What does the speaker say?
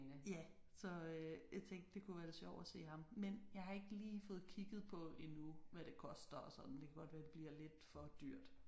Ja så jeg tænkte det kunne være lidt sjovt at se ham men jeg har ikke lige fået kigget på endnu hvad det koster og sådan det kan godt være det bliver lidt for dyrt